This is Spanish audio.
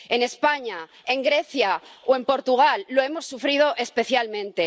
En España, en Grecia o en Portugal lo hemos sufrido especialmente.